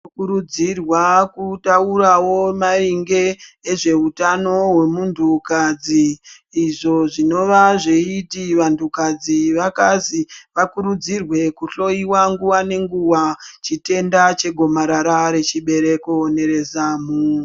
Tinokurudzirwa kutaurawo maringe zvehutano hwemuntu kadzi izvi zvinova zveiti vantu kadzi vakazi vakurudzirwe kuhloiwa nguwa ngenguwa chitenda chegomarara rechibereko nerezamu.